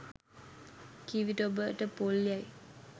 කී විට ඔබට පොල් යැයි